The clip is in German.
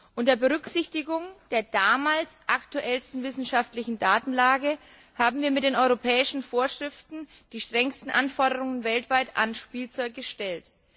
Unter Berücksichtigung der damals aktuellsten wissenschaftlichen Datenlage haben wir mit den europäischen Vorschriften weltweit die strengsten Anforderungen an Spielzeug gestellt.